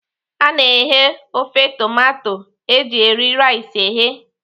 A na-eghe ofe tomato eji eri rice eghe.